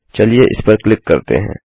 चलिए इस पर क्लिक करते हैं